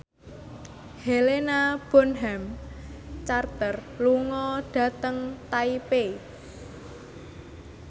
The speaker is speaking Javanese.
Helena Bonham Carter lunga dhateng Taipei